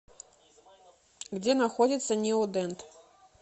где находится неодент